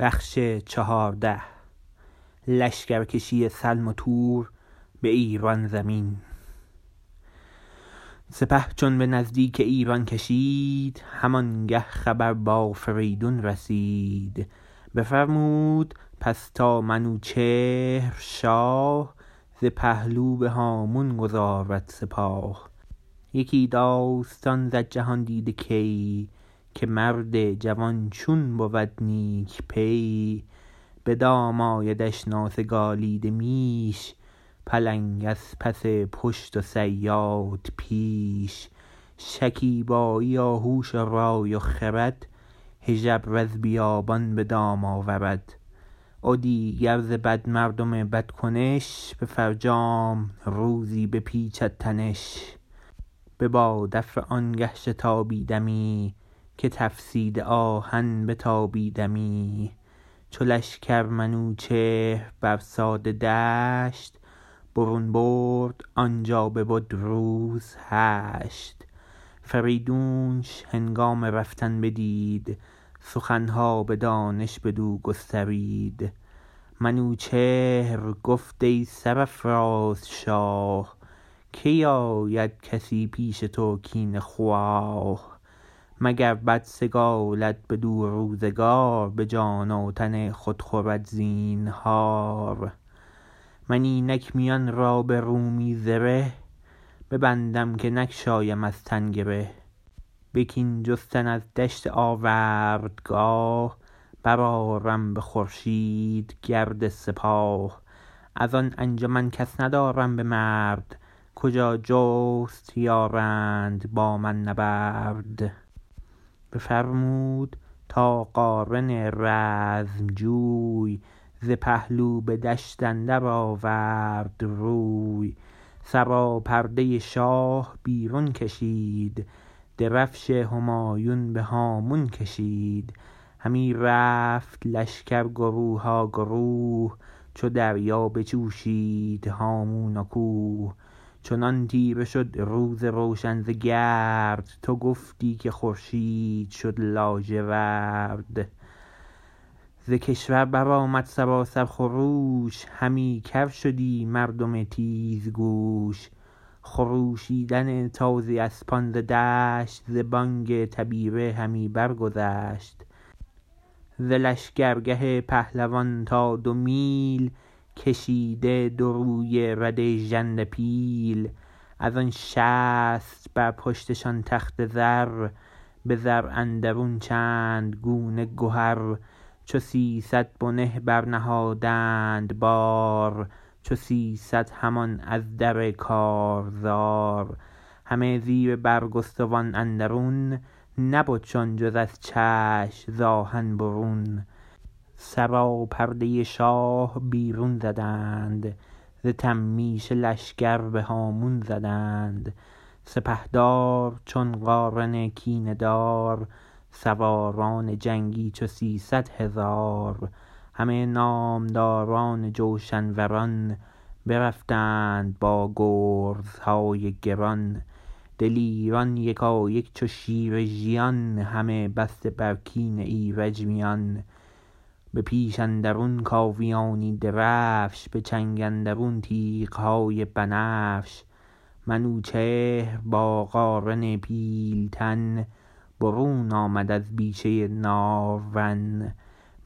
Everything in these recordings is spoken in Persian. سپه چون به نزدیک ایران کشید همانگه خبر با فریدون رسید بفرمود پس تا منوچهر شاه ز پهلو به هامون گذارد سپاه یکی داستان زد جهاندیده کی که مرد جوان چون بود نیک پی بدام آیدش ناسگالیده میش پلنگ از پس پشت و صیاد پیش شکیبایی و هوش و رای و خرد هژبر از بیابان به دام آورد و دیگر ز بد مردم بد کنش به فرجام روزی بپیچد تنش ببادافره آنگه شتابیدمی که تفسیده آهن بتابیدمی چو لشکر منوچهر بر ساده دشت برون برد آنجا ببد روز هشت فریدونش هنگام رفتن بدید سخنها به دانش بدو گسترید منوچهر گفت ای سرافراز شاه کی آید کسی پیش تو کینه خواه مگر بد سگالد بدو روزگار به جان و تن خود خورد زینهار من اینک میان را به رومی زره ببندم که نگشایم از تن گره به کین جستن از دشت آوردگاه برآرم به خورشید گرد سپاه ازان انجمن کس ندارم به مرد کجا جست یارند با من نبرد بفرمود تا قارن رزم جوی ز پهلو به دشت اندر آورد روی سراپرده شاه بیرون کشید درفش همایون به هامون کشید همی رفت لشکر گروها گروه چو دریا بجوشید هامون و کوه چنان تیره شد روز روشن ز گرد تو گفتی که خورشید شد لاجورد ز کشور برآمد سراسر خروش همی کرشدی مردم تیزگوش خروشیدن تازی اسپان ز دشت ز بانگ تبیره همی برگذشت ز لشگر گه پهلوان تا دو میل کشیده دو رویه رده ژنده پیل ازان شصت بر پشتشان تخت زر به زر اندرون چند گونه گهر چو سیصد بنه برنهادند بار چو سیصد همان از در کارزار همه زیر برگستوان اندرون نبدشان جز از چشم ز آهن برون سراپرده شاه بیرون زدند ز تمیشه لشکر بهامون زدند سپهدار چون قارن کینه دار سواران جنگی چو سیصدهزار همه نامداران جوشن وران برفتند با گرزهای گران دلیران یکایک چو شیر ژیان همه بسته بر کین ایرج میان به پیش اندرون کاویانی درفش به چنگ اندرون تیغهای بنفش منوچهر با قارن پیلتن برون آمد از بیشه نارون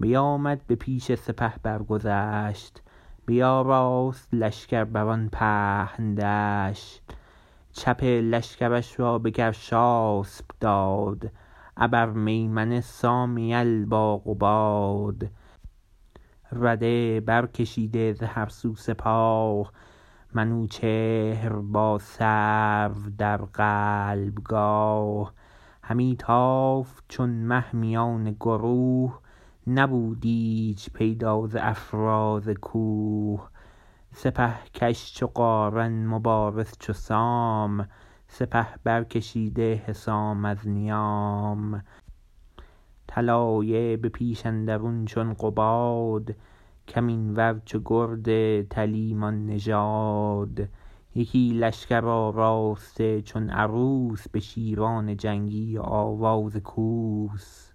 بیامد به پیش سپه برگذشت بیاراست لشکر بران پهن دشت چپ لشکرش را بگرشاسپ داد ابر میمنه سام یل با قباد رده بر کشیده ز هر سو سپاه منوچهر با سرو در قلب گاه همی تافت چون مه میان گروه نبود ایچ پیدا ز افراز کوه سپه کش چو قارن مبارز چو سام سپه برکشیده حسام از نیام طلایه به پیش اندرون چون قباد کمین ور چو گرد تلیمان نژاد یکی لشکر آراسته چون عروس به شیران جنگی و آوای کوس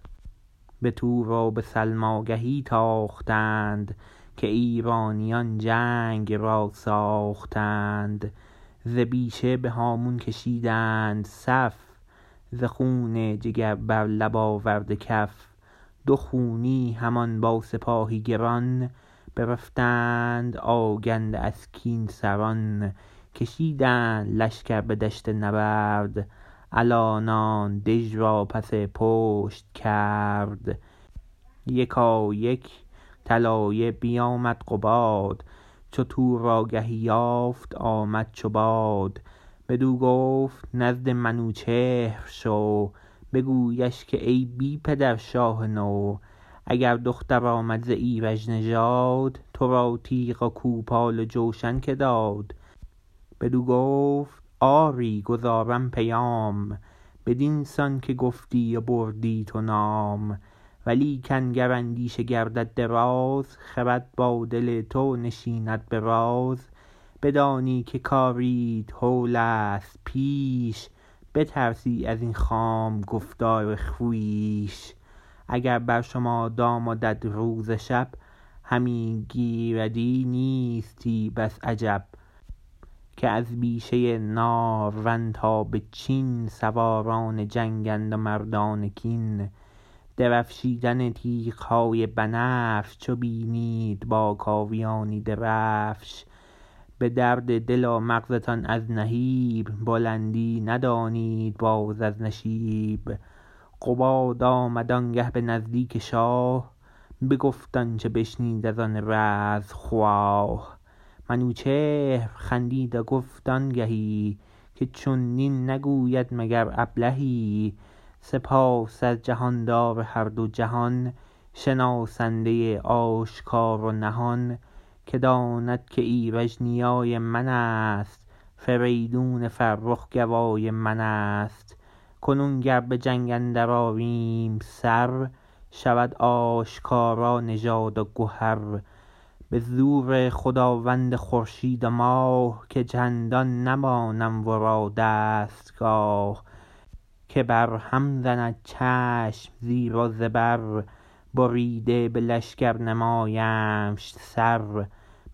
به تور و به سلم آگهی تاختند که ایرانیان جنگ را ساختند ز بیشه بهامون کشیدند صف ز خون جگر بر لب آورده کف دو خونی همان با سپاهی گران برفتند آگنده از کین سران کشیدند لشکر به دشت نبرد الانان دژ را پس پشت کرد یکایک طلایه بیامد قباد چو تور آگهی یافت آمد چو باد بدو گفت نزد منوچهر شو بگویش که ای بی پدر شاه نو اگر دختر آمد ز ایرج نژاد ترا تیغ و کوپال و جوشن که داد بدو گفت آری گزارم پیام بدین سان که گفتی و بردی تو نام ولیکن گر اندیشه گردد دراز خرد با دل تو نشیند براز بدانی که کاریت هولست پیش بترسی ازین خام گفتار خویش اگر بر شما دام و دد روز و شب همی گریدی نیستی بس عجب که از بیشه نارون تا بچین سواران جنگند و مردان کین درفشیدن تیغهای بنفش چو بینید باکاویانی درفش بدرد دل و مغزتان از نهیب بلندی ندانید باز از نشیب قباد آمد آنگه به نزدیک شاه بگفت آنچه بشنید ازان رزم خواه منوچهر خندید و گفت آنگهی که چونین نگوید مگر ابلهی سپاس از جهاندار هر دو جهان شناسنده آشکار و نهان که داند که ایرج نیای منست فریدون فرخ گوای منست کنون گر بجنگ اندر آریم سر شود آشکارا نژاد و گهر به زور خداوند خورشید و ماه که چندان نمانم ورا دستگاه که بر هم زند چشم زیر و زبر بریده به لشکر نمایمش سر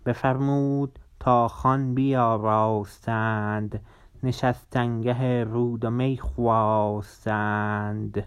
بفرمود تا خوان بیاراستند نشستنگه رود و می خواستند